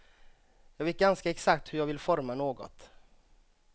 Jag vet ganska exakt hur jag vill forma något.